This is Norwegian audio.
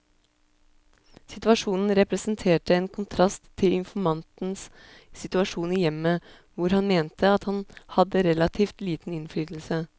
Situasjonen representerte en kontrast til informantens situasjon i hjemmet, hvor han mente at han hadde relativt liten innflytelse.